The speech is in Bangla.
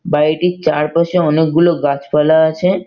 বাড়িটির চারপাশে অনেকগুলো গাছপালা আছে-এ।